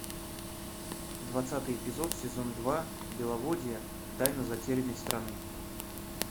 двадцатый эпизод сезон два беловодье тайна затерянной страны